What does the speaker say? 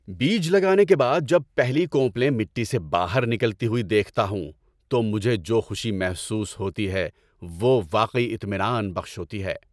بیج لگانے کے بعد جب پہلی کونپلیں مٹی سے باہر نکلتی ہوئی دیکھتا ہوں تو مجھے جو خوشی محسوس ہوتی ہے وہ واقعی اطمینان بخش ہوتی ہے۔